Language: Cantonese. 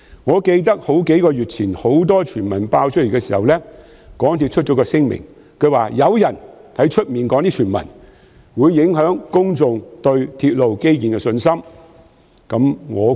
我記得在數月前出現眾多傳聞時，港鐵公司發出聲明，指有人在外邊提出的傳聞會影響公眾對鐵路基建工程的信心。